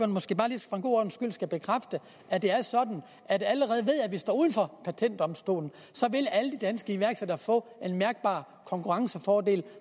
måske bare lige for god ordens skyld skal bekræfte at det er sådan at allerede ved at vi står uden for patentdomstolen vil alle de danske iværksættere få en mærkbar konkurrencefordel